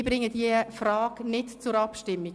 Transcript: Ich bringe diese Frage nicht zur Abstimmung.